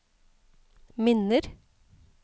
minner